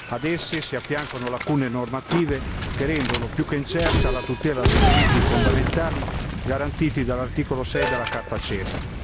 Ad esse si affiancano lacune normative che rendono più che incerta la tutela dei diritti fondamentali garantiti dall'articolo 6 della carta CEDU.